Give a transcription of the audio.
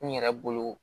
N yɛrɛ bolo